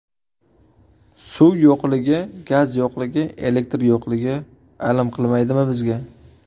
Suv yo‘qligi, gaz yo‘qligi, elektr yo‘qligi… alam qilmaydimi bizga?